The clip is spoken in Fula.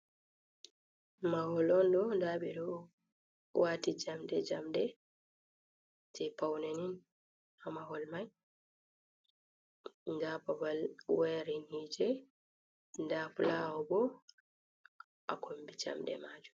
Mahol on ɗo nda ɓeɗo wati jamɗe jamɗe je paune ni ha mahol mai nda babal wayari hiite nda fulaawa bo ha kombi jamɗe majum.